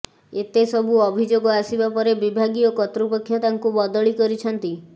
ଏତେ ସବୁ ଅଭିଯୋଗ ଆସିବା ପରେ ବିଭାଗୀୟ କର୍ତ୍ତୃପକ୍ଷ ତାଙ୍କୁ ବଦଳି କରିଛନ୍ତି